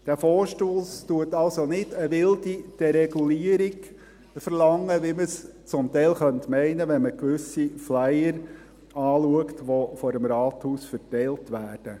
Dieser Vorstoss verlangt also nicht eine wilde Deregulierung, wie man es teilweise meinen könnte, wenn man gewisse Flyer betrachtet, die vor dem Rathaus verteilt werden.